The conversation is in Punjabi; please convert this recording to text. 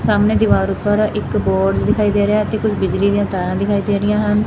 ਸਾਹਮਣੇ ਦੀਵਾਰ ਉਪਰ ਇੱਕ ਬੋਰਡ ਦਿਖਾਈ ਦੇ ਰਿਹਾ ਤੇ ਕੁਝ ਬਿਜਲੀ ਦੀਆਂ ਤਾਰਾਂ ਦਿਖਾਈ ਦੇ ਰਹੀਆਂ ਹਨ